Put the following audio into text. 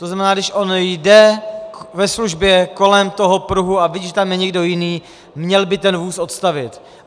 To znamená, když on jde ve službě kolem toho pruhu a vidí, že tam je někdo jiný, měl by ten vůz odstavit.